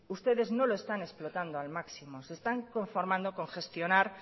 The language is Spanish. ustedes no lo están explotando al máximo se están conformando con gestionar